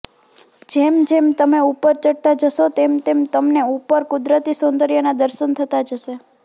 જેમ જેમ તમે ઉપર ચઢતા જશો તેમ તેમ તમને ઉપર કુદરતી સોંદર્યના દર્શન થતા જશે